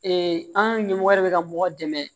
an ɲɛmɔgɔ yɛrɛ bɛ ka mɔgɔ dɛmɛ